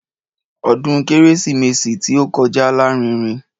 Ọdún kérésìmesì tí ó kọjá lárinrin.